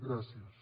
gràcies